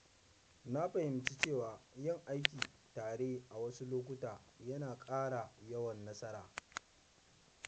Na fahimci cewa yin aiki tare a wasu lokuta yana ƙara yawan nasara.